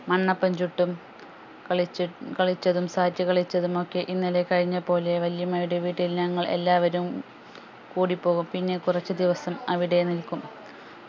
മണ്ണപ്പം ചുട്ടും കളിച്ച കളിച്ചതും sat കളിച്ചതും ഒക്കെ ഇന്നലെ കഴിഞ്ഞ പോലെ വെല്ല്യമ്മയുടെ വീട്ടിൽ ഞങ്ങൾ എല്ലാവരും കൂടിപോകും പിന്നെ കുറച്ച് ദിവസം അവിടെ നിൽക്കും